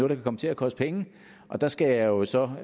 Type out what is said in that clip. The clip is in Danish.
der kan komme til at koste penge og der skal jeg jo så